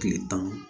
Kile tan